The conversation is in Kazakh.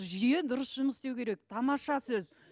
жүйе дұрыс жұмыс істеу керек тамаша сөз